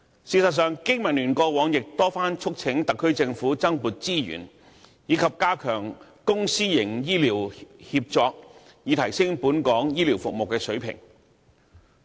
事實上，經民聯過往曾多番促請特區政府增撥資源，以及加強公私營醫療協作，以提升本港醫療服務的水平。